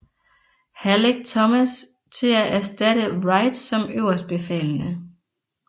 Halleck Thomas til at erstatte Wright som øverstbefalende